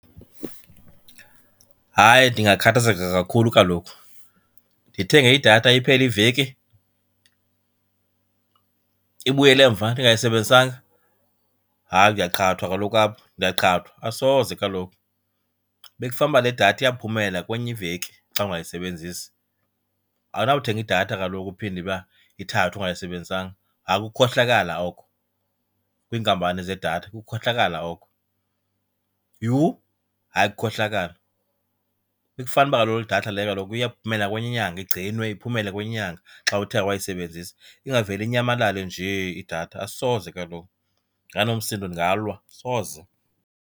Hayi, ndingakhathazeka kakhulu kaloku. Ndithenge idatha iphele iveki ibuyele emva ndingayisebenzisanga? Hayi ndiyaqhathwa kaloku apho, ndiyaqhathwa, asoze kaloku. Bekufanuba le datha iyaphumelela kwenye iveki xa ungayisebenzisi. Awunawuthenga idatha kaloku uphinde iba ithathwe ungayisebenzisanga. Hayi kukukhohlakala oko kwiinkampani zedatha, kukukhohlakala oko. Yhu, hayi kukukhohlakala. Bekufanuba kaloku idatha leyo kaloku iyaphumela kwenye inyanga, igcinwe iphumele kwenye inyanga xa uthe awayisebenzisa, ingavele inyamalale nje idatha. Asoze kaloku ndinganomsindo, ndingalwa, asoze.